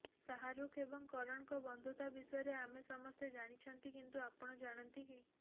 ଶାହାରୁଖ ଏବଂ କରଣଙ୍କ ବନ୍ଧୁତା ବିଷୟରେ ଆମେ ସମସ୍ତେ ଜାଣିଛନ୍ତି କିନ୍ତୁ ଆପଣ ଜାଣନ୍ତି କି